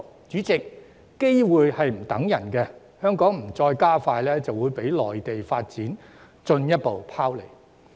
主席，機會不會等人，香港如再不加快追趕，就會被內地發展進一步拋離。